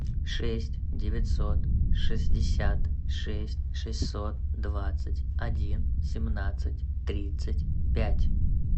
шесть девятьсот шестьдесят шесть шестьсот двадцать один семнадцать тридцать пять